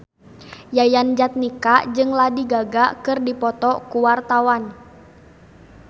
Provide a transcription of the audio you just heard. Yayan Jatnika jeung Lady Gaga keur dipoto ku wartawan